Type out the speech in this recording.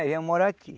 Aí viemos morar aqui.